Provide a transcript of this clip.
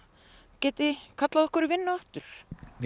geti kallað okkur í vinnu aftur